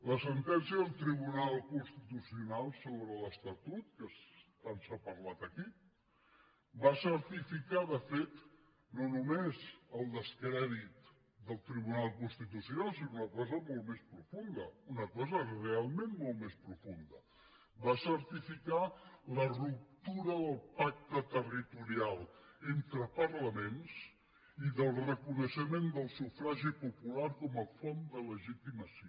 la sentència del tribunal constitucional sobre l’estatut que tant s’ha parlat aquí va certificar de fet no només el descrèdit del tribunal constitucional sinó una cosa molt més profunda una cosa realment molt més profunda va certificar la ruptura del pacte territorial entre parlaments i del reconeixement del sufragi popular com a font de legitimació